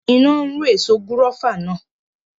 Iná run èso gúrófà náà